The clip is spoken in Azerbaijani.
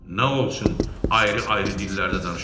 Nə olsun ayrı-ayrı dillərdə danışırlar?